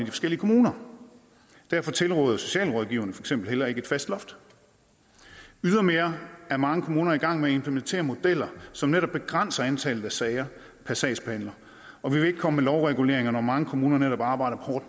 forskellige kommuner derfor tilråder socialrådgiverne heller ikke et fast loft ydermere er mange kommuner i gang med implementere modeller som netop begrænser antallet af sager per sagsbehandler og vi vil ikke komme med lovreguleringer når mange kommuner netop arbejder hårdt